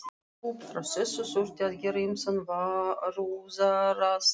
Upp frá þessu þurfti að gera ýmsar varúðarráðstafanir.